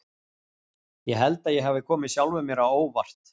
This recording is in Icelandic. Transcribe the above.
Ég held að ég hafi komið sjálfum mér á óvart.